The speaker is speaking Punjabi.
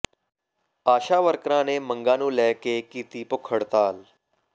ਆਸ਼ਾ ਵਰਕਰਾਂ ਨੇ ਮੰਗਾਂ ਨੂੰ ਲੈ ਕੇ ਕੀਤੀ ਭੁੱਖ ਹੜਤਾਲ